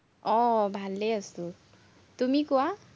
আহ ভালে আছো। তুমি কোৱা?